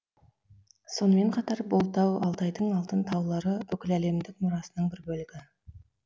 сонымен қатар бұл тау алтайдың алтын таулары бүкіләлемдік мұрасының бір бөлігі